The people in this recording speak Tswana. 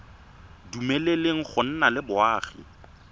dumeleleng go nna le boagi